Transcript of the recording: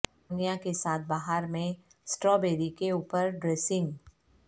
ammonia کے ساتھ بہار میں سٹرابیری کے اوپر ڈریسنگ